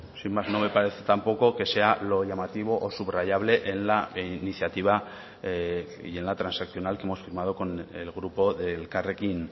sin más no me parece tampoco que sea lo llamativo o subrayable en la iniciativa y en la transaccional que hemos firmado con el grupo de elkarrekin